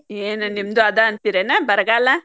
ಏನ್ ನಿಮ್ದು ಆದ ಅಂತೀರೇನ್ ಬರಗಾಲ.